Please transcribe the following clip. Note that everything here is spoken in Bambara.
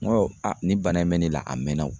N go a nin bana in bɛ ne la a mɛnna wo